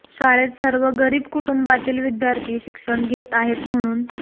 शाळेत सर्व गरीब कुटुंबातील विद्यार्थी शिक्षण घेत आहे म्हणून